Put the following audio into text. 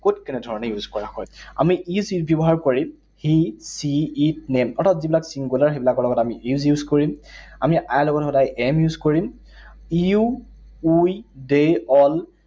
কত কেনে ধৰণে use কৰা হয়। আমি is ব্যৱহাৰ কৰিম he, she, it, name অৰ্থাৎ যিবিলাক singular, সেইবিলাকৰ লগত আমি is use কৰিম। আমি I লগত সদায় am use কৰিম। You, we, they, all